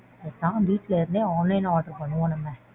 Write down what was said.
பேசாம வீட்ல இருந்தே online ல order பண்ணுவோம் நம்ம.